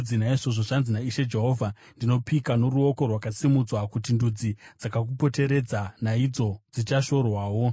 Naizvozvo zvanzi naIshe Jehovha: Ndinopika noruoko rwakasimudzwa kuti ndudzi dzakakupoteredza naidzo dzichashorwawo.